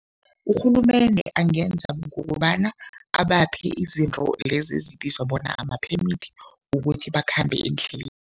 Urhulumende angenza ngokobana abaphe izinto lezi ezibizwa bona ama-permit ukuthi bakhambe eendleleni.